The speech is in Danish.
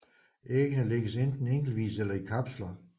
Æggene lægges enten enkeltvis eller i kapsler